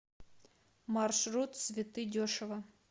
маршрут цветы дешево